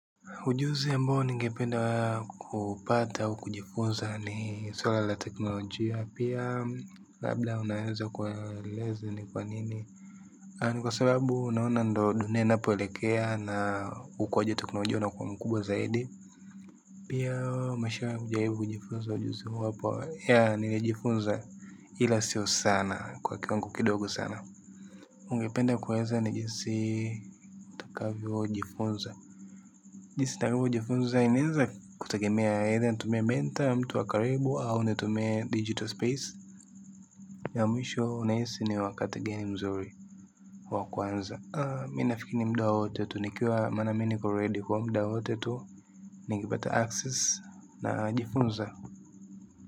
Ujuzi ya ambao ningependa kupata au kujifunza ni swala la teknolojia. Pia labda unaeza kueleza ni kwa nini. Ni kwa sababu unaona ndyo ninapoelekea na ukwaji teknolojia unakuwa mkubwa zaidi. Pia mashara ujaibu kujifunza ujuzi huo hapa ya nili jifunza ila sio sana kwa kiwango kidogo sana. Ungependa kueza ni jinsi takavyo jifunza. Jisitaribu jifunza inaenza kutegemea either ntumie menta mtu wa karibu au nitumie digital space. Ya mwisho unahisi ni wakati gani mzuri wa kwanza. Mina fikiri muda woote tu nikiwa maana mini ko redi kwa mda wote tu. Nigibata access na jifunza.